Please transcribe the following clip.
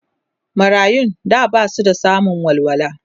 marayun da Basu samun kulawa